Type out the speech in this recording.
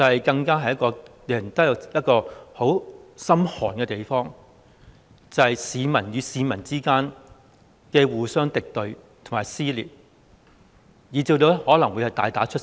便是令人十分心寒的景況，市民與市民之間互相敵對和撕裂，以至可能會大打出手。